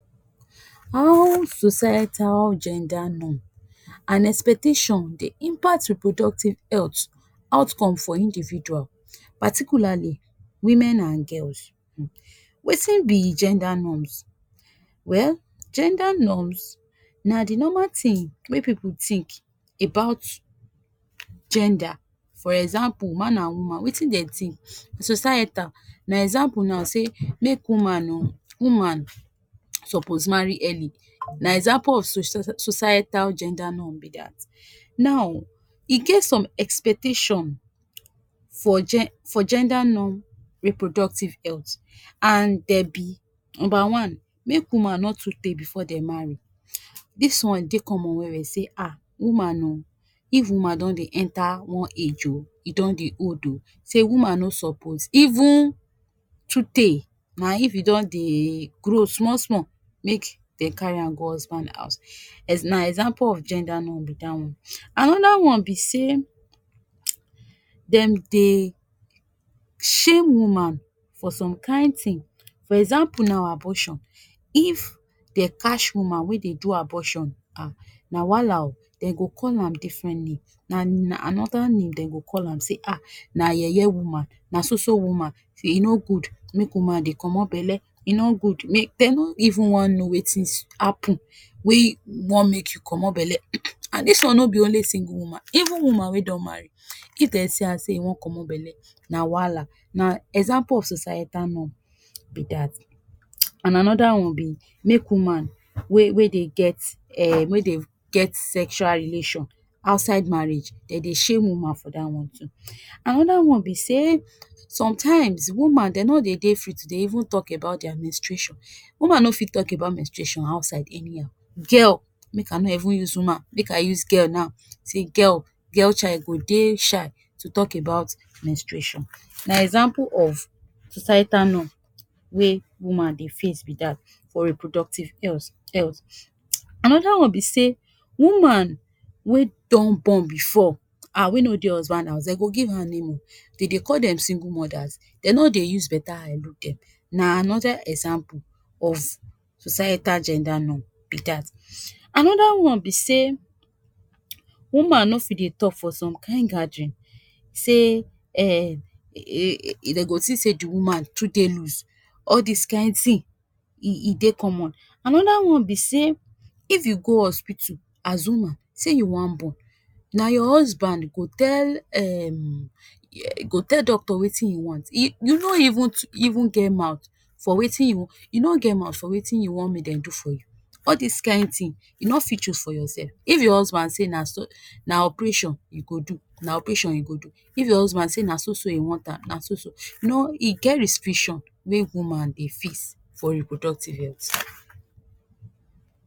How societal gender norm and expectations dey impact reproductive healt outcome for individual particularly women and girls um Wetin be gender norms. Well gender norms na di normal tins wey pipu tink about gender for example, man and woman wetin den tink societal na example now say woman oo, woman supoz marry early, na example of so cie so societal gender norm be dat. Now, e get some expectation for gen, for gender norm reproductive healt and dem be; number one, make woman no too tey before they marry, dis one dey common well-well say um woman oo, if woman don dey enter one age oo, e don dey old oo, sey woman no supoz even too tey, na if you don dey grow small small make dem carry her go husband house, ex na example of gender norm be dat one. Anoda one be say, dem dey shame woman for some kain thing, for example na abortion, if den catch woman wey dey do abortion um na wahala oo, den go call am different name, na na anoda name dem go call am say um na yeye woman, na so-so woman, say e no good make woman dey comot belle, e no good make, den no even wan know wetin happen wey wan make you comot belle, and dis one no be only single woman, even woman wey don marry, if dem see am sey you wan comot belle na wahala, na example of societal norm be dat. And anoda one be make woman wey wey dey get um wey dey get sexual relation outside marriage, den dey shame woman for dat one too. Anoda one be say, sometimes woman den no dey de free to dey even talk about their menstruation, woman no fi talk about menstruation outside anyhow, girl make I no even use woman, make I use girl now, say girl, girl child go dey shy to talk about menstruation, na example of societal norm wey woman dey face be dat for reproductive health health. Anoda one be say, woman wey don born before um wey no dey husband house, dem go give her name oo, dem dey call them single mothers, den no dey use beta eye look them, na anoda example of societal gender norm be dat. Anoda one be say woman no fi dey talk for some kain gathering, sey um den go tink sey the woman too dey loose, all dis kain tin e e dey common. Anoda one be say if you go hospital as woman say you wan born, na your husband go tell um go tell doctor wetin you want, e, you no even tu, even get mouth for wetin, you no get mouth for wetin you wan make dem do for you, all dis kain tin you no fi choose for yourself, if your husband say na sur.., na operation you go do, na operation you go do, if your husband say na so-so he want am, na so-so, you know, e get restriction wey woman dey fix for reproductive health.